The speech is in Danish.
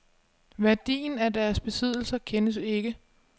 Værdien af deres besiddelser kendes ikke.